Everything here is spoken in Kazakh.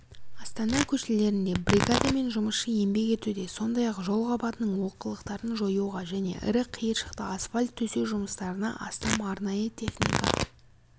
астана көшелерінде бригада мен жұмысшы еңбек етуде сондай-ақ жол қабатының олқылықтарын жоюға және ірі қиыршықты асфальт төсеу жұмыстарына астам арнайы техника